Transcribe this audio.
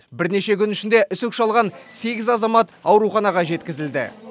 бірнеше күн ішінде үсік шалған сегіз азамат ауруханаға жеткізілді